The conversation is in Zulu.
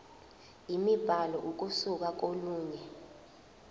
imibhalo ukusuka kolunye